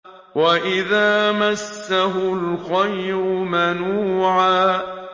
وَإِذَا مَسَّهُ الْخَيْرُ مَنُوعًا